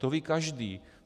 To ví každý.